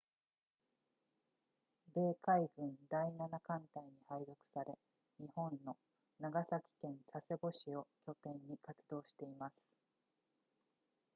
米海軍第7艦隊に配属され日本の長崎県佐世保市を拠点に活動しています